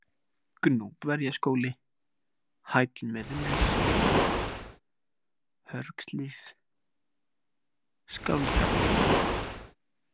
Gnúpverjaskóli, Hæll Miðnes, Hörgshlíð, Skáldabúðir